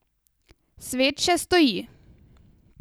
Svet še stoji.